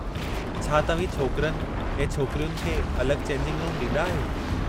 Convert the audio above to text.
छा तव्हीं छोकिरनि ऐं छोकरियुनि खे अलगि॒ चेंजिंग रूम ॾींदा आहियो?